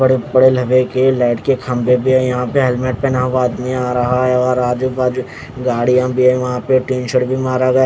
बड़े बड़े लह के लाइट के खंबे भी हे यहाँ पे हेलमेट पहना हुआ आदमी आ रहा है और आजूबाजू गाड़ी या भी यहाँ पे स्क्रीनशॉट भी मारा गया--